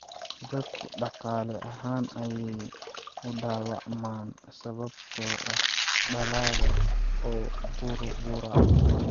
Dadku dhaqaale ahaan ayay u dhaawacmaan sababtoo ah dalagga oo burbura.